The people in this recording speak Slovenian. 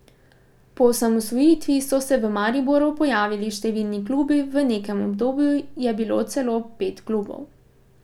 Po osamosvojitvi so se v Mariboru pojavili številni klubi, v nekem obdobju je bilo celo pet klubov.